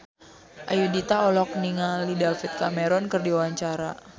Ayudhita olohok ningali David Cameron keur diwawancara